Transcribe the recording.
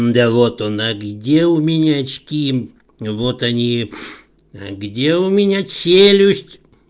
да вот он а где у меня очки вот они где у меня челюсть